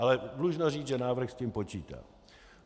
Ale dlužno říci, že návrh s tím počítá.